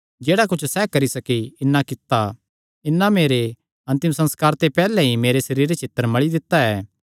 जेह्ड़ा कुच्छ सैह़ करी सकी इन्नै कित्ता इन्नै मेरे अन्तिम संस्कारे ते पैहल्ले ई मेरे सरीरे च इत्तर मल़ी दित्ता ऐ